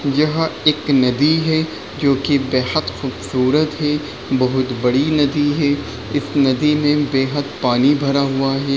यह एक नदी है जो की बेहद खूबसूरत है। बहुत बड़ी नदी है इस नदी में बेहद पानी भरा हुआ है।